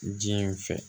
Jiɲɛ in fɛ